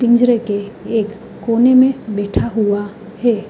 पींजेर के एक कोने में बैठा हुआ है।